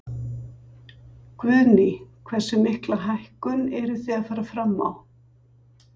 Guðný: Hversu mikla hækkun eruð þið að fara fram á?